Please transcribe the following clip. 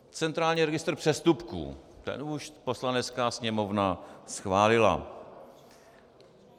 Centrální registr přestupků - ten už Poslanecká sněmovna schválila.